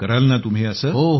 कराल ना तुम्ही असे